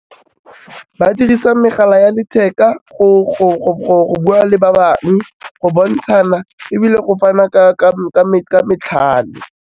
Ba dirisa megala ya letheka go bua le ba bangwe go bontshana ebile go fana ka matlhale.